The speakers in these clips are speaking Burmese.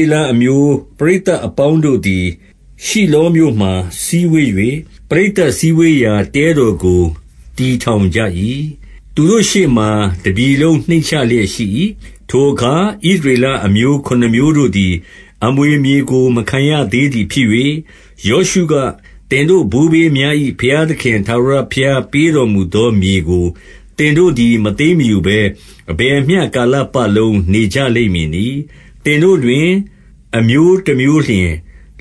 ေလအမျိုး ပရိသတ်အပေါင်းတို့သည်၊ ရှိလောမြို့မှာစည်းဝေး၍ ပရိသတ်စည်းဝေးရာ တဲတော်ကို တည်ထောင်ကြ၏။ သူတို့ရှေ့မှာ တပြည်လုံးနှိမ့်ချလျက်ရှိ ၏။ ထိုအခါ ဣသရေလအမျိုးခုနှစ်မျိုးတို့သည်၊ အမွေမြေကို မခံရသေးသည်ဖြစ်၍၊ ယောရှုက၊ သင်တို့ဘိုးဘေးများ၏ ဘုရားသခင် ထာဝရဘုရားပေးတော်မူသောမြေကို သင်တို့သည် မသိမ်း မယူဘဲ အဘယ်မျှကာလပတ်လုံး နေကြလိမ့်မည်နည်း။ သင်တို့တွင် အမျိုးတမျိုးလျှင်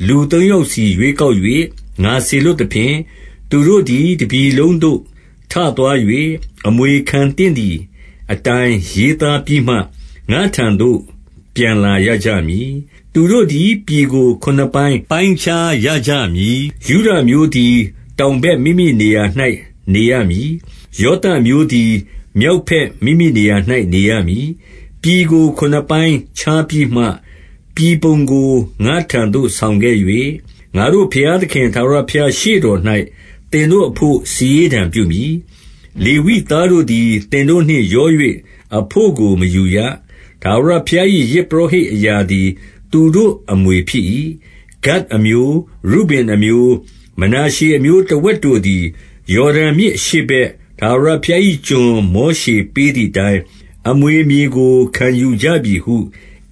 လူသုံးယောက်စီ ရွေးကောက်၍ ငါစေလွှတ်သဖြင့်၊ သူတို့သည် တပြည်လုံး သို့ထသွား၍ အမွေခံသင့်သည်အတိုင်း ရေးသားပြီးမှ ငါ့ထံသို့ပြန်လာရကြမည်။ သူတို့သည် ပြည်ကို ခုနှစ်ပိုင်းပိုင်းခြားရကြမည်။ ယုဒအမျိုးသည် တောင်ဘက်မိမိနေရာ၌ နေရမည်။ ယောသပ်အမျိုးသည် မြောက်ဘက်မိမိနေရာ၌ နေရမည်။ ပြည်ကို ခုနှစ်ပိုင်းပိုင်းခြားပြီးမှ၊ ပြည်ပုံကို ငါ့ထံ သို့ဆောင်ခဲ့၍၊ ငါတို့ဘုရားသခင် ထာဝရဘုရားရှေ့တော် ၌ သင်တို့အဘို့ စာရေးတံပြုမည်။ လေဝိသားတို့သည် သင်တို့နှင့်ရော၍ အဘို့ကို မယူရ။ ထာဝရဘုရား၏ ယဇ်ပုရောဟိတ်အရာသည် သူတို့အမွေဖြစ်၏။ ဂဒ်အမျိုး၊ ရုဗင်အမျိုး၊ မနာရှေအမျိုး တဝက်တို့သည် ယော်ဒန်မြစ်အရှေ့ဘက် ထာဝရဘုရား ၏ကျွန် မောရှေပေးသည်အတိုင်း၊ အမွေမြေကို ခံယူကြပြီ ဟု ဣ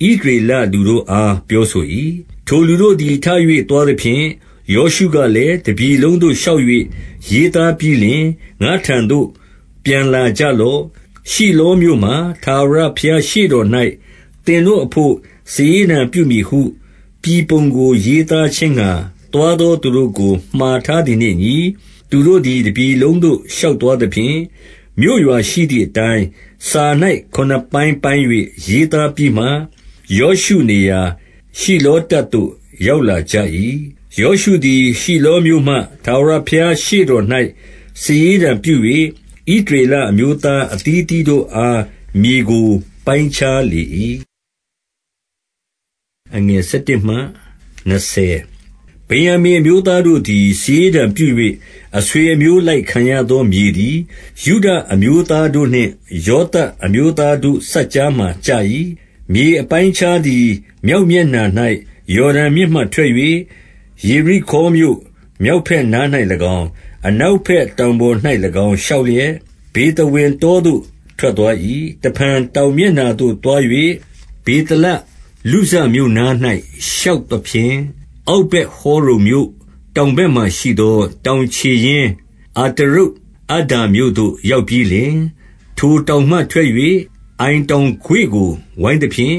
သရေလလူတို့အား ပြောဆို၏။ ထိုလူတို့သည် ထ၍သွားသဖြင့်၊ ယောရှုက လည်း၊ တပြည်လုံးသို့ ရှောက်၍ရေးသားပြီးလျှင် ငါ့ထံသို့ ပြန်လာကြလော့။ ရှိလောမြို့မှာ ထာဝရဘုရားရှေ့တော် ၌ သင်တို့အဘို့ စာရေးတံပြုမည်ဟု ပြည်ပုံကို ရေးသား ခြင်းငှါ သွားသောသူတို့ကို မှာထားသည်နှင့်အညီ၊ သူတို့သည် တပြည်လုံးသို့ ရှောက်သွားသဖြင့်၊ မြို့ရွာရှိသည်အတိုင်း စာ၌ ခုနစ်ပိုင်းပိုင်း၍ ရေးသားပြီးမှ ယောရှုနေရာ ရှိလောတပ်သို့ ရောက်လာကြ၏။ ယောရှုသည် ရှိလောမြို့မှာ ထာဝရဘုရားရှေ့ တော်၌ စာရေးတံပြု၍ ဣသရေလအမျိုးသား အသီးသီး တို့အား မြေကိုပိုင်းခြားလေ၏။ ဗင်္ယာမိန်အမျိုးသားတို့သည် စာရေးတံပြု၍ အဆွေအမျိုးအလိုက် ခံရသောမြေသည် ယုဒအမျိုးသား တို့နှင့် ယောသပ်အမျိုးသားတို့စပ်ကြားမှာ ကျ၏။ မြေအပိုင်းအခြားသည် မြောက်မျက်နှာ၌ ယော် ဒန်မြစ်မှထွက်၍ ယေရိခေါမြို့ မြောက်ဘက်နား၌၎င်း၊ အနောက်ဘက်တောင်ပေါ်၌၎င်း ရှောက်လျက် ဗေသဝင် တောသို့ ထွက်သွား၏။ တဖန် တောင်မျက်နှာသို့သွား၍ ဗေသလ လုဇ မြို့နား၌ ရှောက်သဖြင့်၊ အောက်ဗက်ဟောရုန်မြို့ တောင် ဘက်မှာရှိသော တောင်ခြေရင်း အတရုတ်အဒ္ဒါမြို့သို့ ရောက်ပြီးလျှင်၊ ထိုတောင်မှထွက်၍ အိုင်တောင်ကွေ့ကို ဝိုင်း သဖြင့်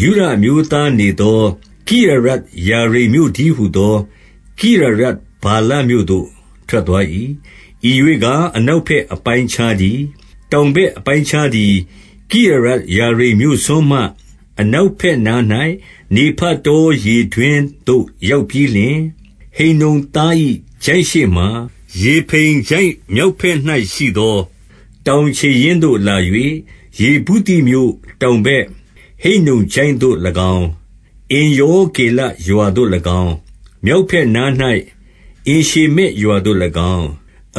၊ ယုဒအမျိုးသားနေသော ကိရယတ်ယာရိမ်မြို့ တည်းဟူသော ကိရယတ်ဗာလမြို့သို့ ထွက်သွား၏။ ဤရွေ့ကား အနောက်ဘက်အပိုင်းအခြားတည်း။ တောင်ဘက်အပိုင်းအခြားသည် ကိရယတ်ယာ ရိမ်မြို့စွန်းမှ အနောက်ဘက်နား၌ နေဖတောရေတွင်းသို့ ရောက်ပြီးလျှင်၊ ဟိန္နုံသား၏ချိုင့်ရှေ့မှာ၊ ရေဖိမ်ချိုင့်မြောက်ဘက် ၌ရှိသော တောင်ခြေရင်းသို့လာ၍ ယေဗုသိမြို့တောင် ဘက် ဟိန္နုံချိုင့်သို့၎င်း၊ အင်္ရောဂေလရွာသို့၎င်း၊ မြောက်ဘက်နား၌ အင်ရှေမက်ရွာသို့၎င်း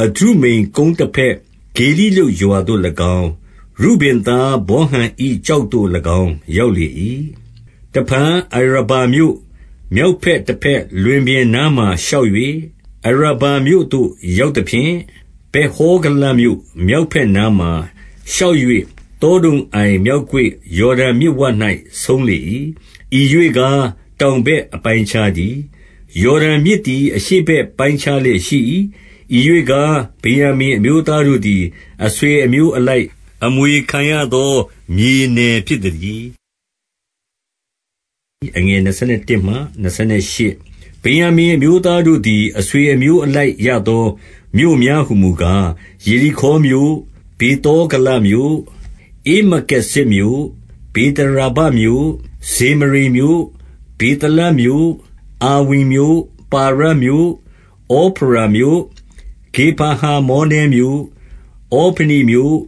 ၊ အဒုမ္မမ်ကုန်းတဘက် ဂေလိလုတ်ရွာသို့၎င်း၊ ရုဗင်သား ဗောဟန်၏ ကျောက်သို့၎င်း ရောက်လေ၏။ တဖန် အရာဗမြို့ မြောက်မျက်နှာတဘက် လွင်ပြင်နားမှာရှောက်၍ အရာဗမြို့သို့ရောက်သဖြင့်၊ ဗက်ဟောဂလမြို့ မြောက်ဘက်နားမှာရှောက်၍ သောဒုံအိုင်မြောက်ကွေ့၊ ယော်ဒန်မြစ်ဝ၌ ဆုံးလေ၏။ ဤရွေ့ကား တောင်ဘက်အပိုင်းအခြားတည်း။ ယော်ဒန်မြစ်သည် အရှေ့ဘက်ပိုင်းခြားလျက် ရှိ၏။ ဤရွေ့ကား ဗင်္ယာမိန်အမျိုးသားတို့သည် အဆွေ အမျိုးအလိုက် အမွေခံရသောမြေနယ်ဖြစ်သတည်း။ ဗင်္ယာမိန်အမျိုးသားတို့သည် အဆွေအမျိုးအ လိုက်ရသော မြို့များဟူမူကား၊ ယေရိခေါမြို့၊ ဗေသော ဂလမြို့၊ ဧမက္ကေဇဇ်မြို့၊ ဗေသရာဗမြို့၊ ဇေမရိမ်မြို့၊ ဗေသလမြို့၊ အာဝိမ်မြို့၊ ပါရမြို့၊ ဩဖရာမြို့၊ ခေဖါဟာမောနဲမြို့၊ ဩဖနိမြို့၊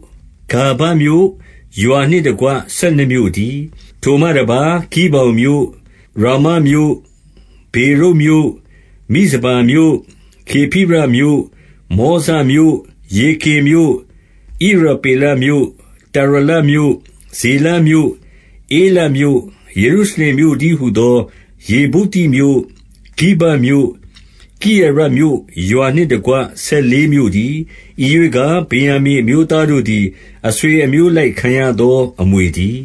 ဂါဘမြို့၊ ရွာနှင့် တကွ ဆယ်နှစ်မြို့တည်း။ ထိုမှတပါး၊ ဂိဗောင်မြို့၊ ရာမမြို့၊ ဗေရုတ်မြို့၊ မိဇပါမြို့၊ ခေဖိရမြို့၊ မောဇမြို့၊ ရေကင်မြို့၊ ဣရပေလမြို့၊ တာရလမြို့၊ ဇေလမြို့၊ ဧလပ်မြို့၊ ယေရုရှလင်မြို့တည်းဟူ သော ယေဗုသိမြို့၊ ဂိဗက်မြို့၊ ကိရယတ်မြို့၊ ရွာနှင့်တကွ ဆယ်လေးမြို့တည်း။ ဤရွေ့ကား ဗင်္ယာမိန်အမျိုးသားတို့ သည် အဆွေအမျိုးအလိုက်ခံရသော အမွေတည်